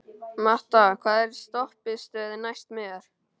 Matta, hvaða stoppistöð er næst mér?